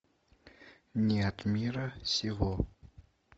не от мира сего